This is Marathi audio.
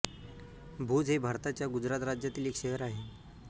भूज हे भारताच्या गुजरात राज्यातील एक शहर आहे